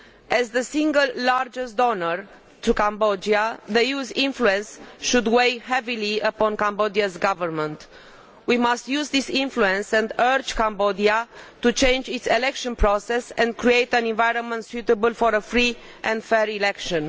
As the single largest donor to Cambodia, the EU's influence should weigh heavily upon Cambodia's government. We must use this influence and urge Cambodia to change its election process and create an environment suitable for a free and fair election.